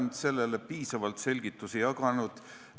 Ma olen selle kohta piisavalt selgitusi jaganud.